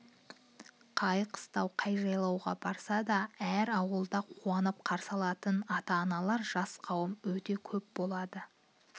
қай қыстау қай жайлауға барса да әр ауылда қуанып қарсы алатын ата-аналар жас қауым өте көп болады